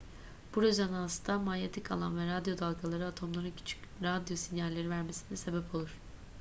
bu rezonansta manyetik alan ve radyo dalgaları atomların küçük radyo sinyalleri vermesine sebep olur